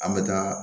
An bɛ taa